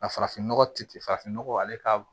Ka farafin nɔgɔ ti farafin nɔgɔ ale ka